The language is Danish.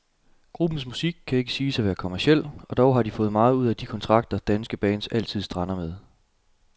Gruppens musik kan ikke siges at være kommerciel, og dog har de fået meget ud af de kontrakter, danske bands altid strander med.